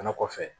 Fana kɔfɛ